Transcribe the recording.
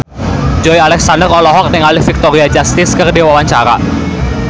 Joey Alexander olohok ningali Victoria Justice keur diwawancara